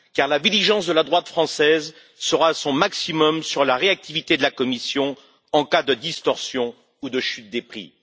La vigilance de la droite française sera à son maximum sur la réactivité de la Commission en cas de distorsion ou de chute des prix.